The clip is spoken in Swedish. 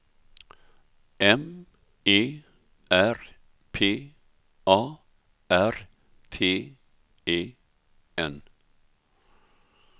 M E R P A R T E N